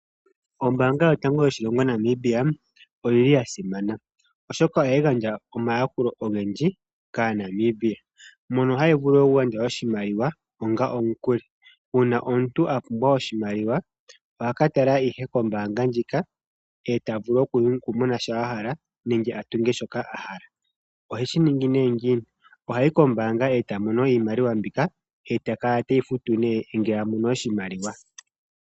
Ombaanga yotango yoshilongo Namibia oyi li ya simana, oshoka ohayi gandja omayakulo ogendji kAanamibia mono hayi vulu okugandja oshimaliwa onga omukuli. Uuna omuntu a pumbwa oshimaliwa oha ka tala ihe kombaanga ndjika e ta vulu okumona shoka a hala nenge a tunge shoka a hala. Oheshi ningi nee ngiini? Oha yi kombaanga e ta mono iimaliwa mbika e ta kala teyi futu nee ngele a mono oshimaliwa.